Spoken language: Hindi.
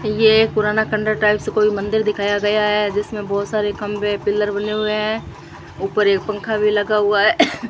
ये पुराना खंडर टाइप से कोई मंदिर दिखाया गया है जिसमें बहुत सारे खंभे पिलर बने हुए हैं ऊपर एक पंखा भी लगा हुआ है।